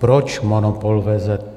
Proč monopol VZP?